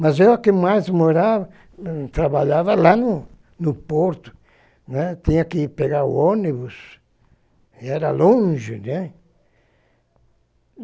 Mas eu que mais morava, trabalhava lá no no porto, né, tinha que pegar o ônibus, era longe, né.